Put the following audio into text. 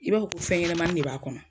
I b'a fo ko fɛnyɛnamani de b'a kɔnɔ.